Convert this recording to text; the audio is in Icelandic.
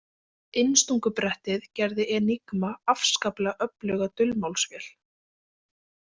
Innstungubrettið gerði Enigma afskaplega öfluga dulmálsvél.